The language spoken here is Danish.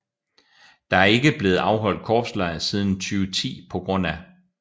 Der er ikke blevet afholdt korpslejr siden 2010 pga